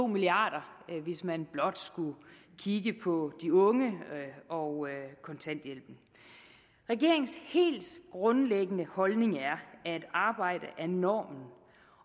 milliard kr hvis man blot skulle kigge på de unge og kontanthjælpen regeringens helt grundlæggende holdning er at arbejde er normen